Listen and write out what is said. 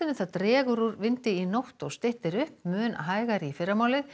það dregur úr vindi í nótt og styttir upp mun hægari í fyrramálið